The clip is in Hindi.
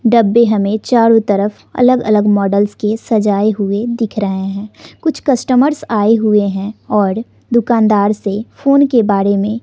डब्बे हमें चारों तरफ अलग अलग मॉडल के सजाए हुए दिख रहे हैं कुछ कस्टमर्स आए हुए हैं और दुकानदार से फोन के बारे में--